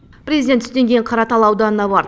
президент түстен кейін қаратал ауданына барды